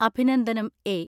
അഭിനന്ദനം എ.